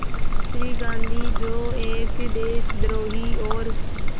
श्री गांधी जो एक देशद्रोही और